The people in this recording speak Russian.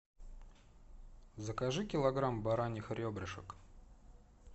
закажи килограмм бараньих ребрышек